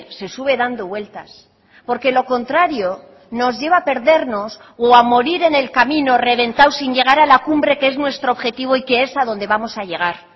se sube dando vueltas porque lo contrario nos lleva a perdernos o a morir en el camino reventados sin llegar a la cumbre que es nuestro objetivo y que es a donde vamos a llegar